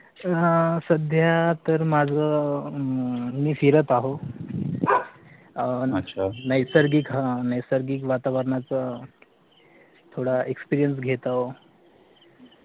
अह सध्या तर माझं अह मी फिरत अहो अह नैसर्गिक अह नैसर्गिक वातावरणच थोडा experience घेत अहो